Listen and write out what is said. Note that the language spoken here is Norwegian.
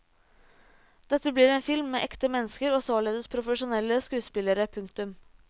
Dette blir en film med ekte mennesker og således profesjonelle skuespillerne. punktum